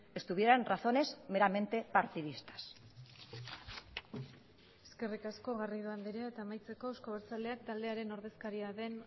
estuvieran razones meramente partidistas eskerrik asko garrido andrea eta amaitzeko euzko abertzaleak taldearen ordezkaria den